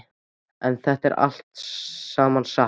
En er þetta allt saman satt?